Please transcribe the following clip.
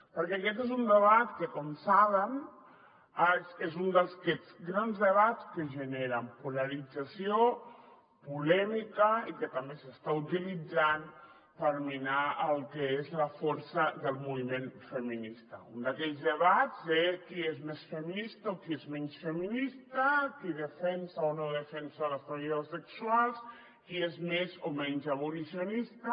perquè aquest és un debat que com saben és un d’aquests grans debats que generen polarització polèmica i que també s’està utilitzant per minar el que és la força del moviment feminista un d’aquells debats de qui és més feminista o qui és menys feminista qui defensa o no defensa les treballadores sexuals qui és més o menys abolicionista